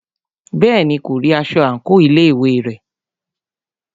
Bẹ́ẹ̀ni, kò rí aṣọ àńkò ilé ìwé rẹ̀.